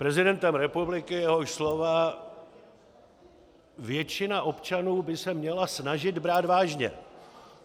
Prezidentem republiky, jehož slova většina občanů by se měla snažit brát vážně.